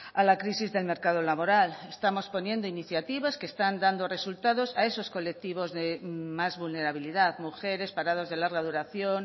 a la crisis del mercado laboral estamos poniendo iniciativas que están dando resultados a esos colectivos de más vulnerabilidad mujeres parados de larga duración